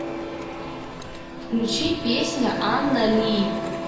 включи песня анна ли